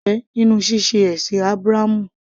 Kí ni èrè rẹ nínú ṣíṣe ẹ̀sìn Ábúráhámù?